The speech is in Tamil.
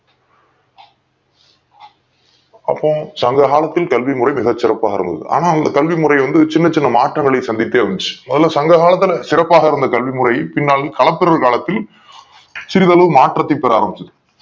அப்போ சங்ககாலத்தில் கல்வி முறை மிக சிறப்பாக இருந்தது ஆனால் கல்வி முறை வந்து சின்ன சின்ன மாற்றங்களை சந்தித்தே வந்துச்சு முதல சங்ககாலத்துல சிறப்பாக இருந்த கல்வி முறை பின்னால் கலப்பிறு காலத்தில் சிறுதளவு மாற்றத்தை பெற ஆரம்பிச்சது